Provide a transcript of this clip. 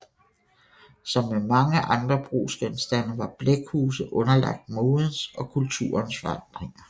Som med mange andre brugsgenstande var blækhuse underlagt modens og kulturens forandringer